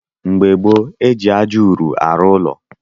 Mgbe gboo, eji ájá ụrụ arụ ụlọ